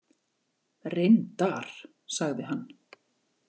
Reyndar, sagði hann.